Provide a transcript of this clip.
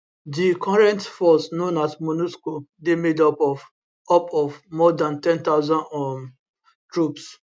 di current force known as monusco dey made up of up of more dan 10000 um troops